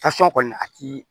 Tasuma kɔni a ti